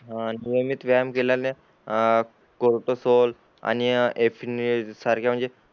हान नियमित व्यायाम केल्याने आं कोर्टोसौल आणि सारख्या म्हणजे